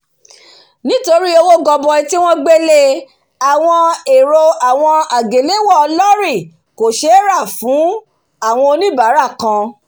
nítorí owó goboi tí won gbé lé awon èrò awon èrò àgéléwọ̀ lórì kò sé rà fún áwon oníbárà kan